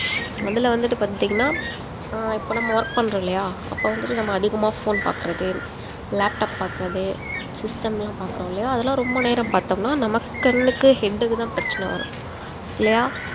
அதுல வந்துட்டு பார்த்தீங்கன்னா ஆஹ் இப்ப நம்ம work பண்றோம் இல்லயா அப்ப வந்துட்டு நம்ம அதிகமா phone பாக்குறது laptop பாக்குறது system லா பார்க்கிறோம் இல்லையா அதெல்லாம் ரொம்ப நேரம் பார்த்தோம்னா நமக்கு கண்ணுக்கு head க்கு தான் பிரச்சனை வரும் இல்லையா